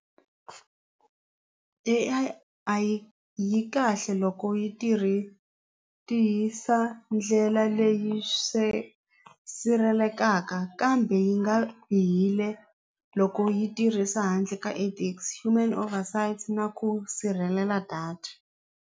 A_I yi kahle loko yi tirhi tihisa ndlela leyi kambe yi nga bihile loko yi tirhisa handle ka ethics human over sights na ku sirhelela data.